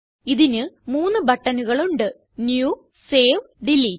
ഇതിന് മൂന്ന് ബട്ടണുകൾ ഉണ്ട് ന്യൂ സേവ് ഡിലീറ്റ്